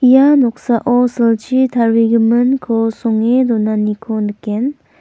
ia noksao silchi tarigiminko songe donaniko nikgen.